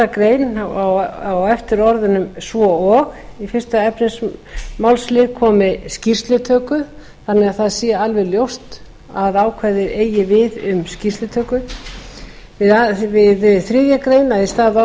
grein á eftir orðunum svo og í fyrsta efnismálsl komi skýrslutöku þannig að það sé alveg ljóst að ákvæðið eigi við um skýrslutöku annars við þriðju grein í stað